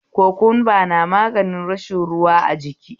Kokumba na magani matsalar rashin ruwa a jiki